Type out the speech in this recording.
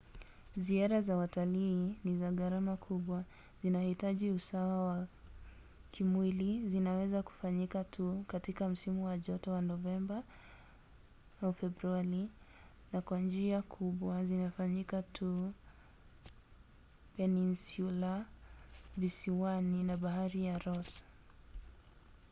ziara za watalii ni za gharama kubwa zinahitaji usawa wa kimwili zinaweza kufanyika tu katika msimu wa joto wa novemba-februari na kwa njia kubwa zinafanyika tu peninsula visiwani na bahari ya ross